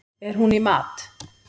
Er hún í mat?